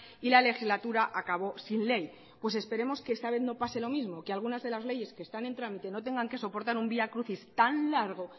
y la legislatura acabo sin ley pues esperemos que esta vez no pase lo mismo que algunas de las leyes que están en trámite no tengan que soportar un vía crucis tan largo